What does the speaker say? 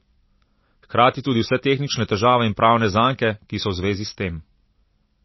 Hkrati tudi vse tehnične težave in pravne zanke, ki so v zvezi s tem.